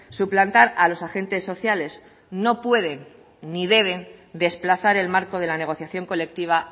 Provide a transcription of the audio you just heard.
suplantar a los agentes sociales no pueden ni deben desplazar el marco de la negociación colectiva